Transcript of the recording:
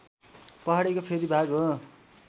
पहाडीको फेदी भाग हो